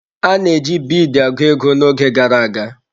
A na-eji biidi agụ ego n'oge gara aga.